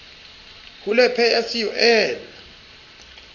hule pay as you earn